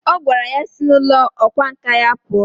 O gwara ya sI na ulo okwa nka ya pua!